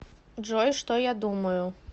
джой что я думаю